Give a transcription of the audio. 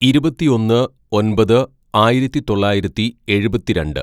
"ഇരുപത്തിയൊന്ന് ഒന്‍പത് ആയിരത്തിതൊള്ളായിരത്തി എഴുപത്തിരണ്ട്‌